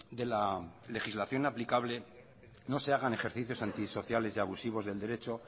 de la legislación aplicable no se hagan ejercicios antisociales y abusivos del derecho